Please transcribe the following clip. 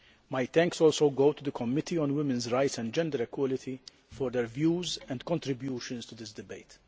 My thanks also go to the Committee on Women's Rights and Gender Equality for their views and contributions to this debate.